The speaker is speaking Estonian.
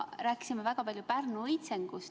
Rääkisime väga palju Pärnu õitsengust.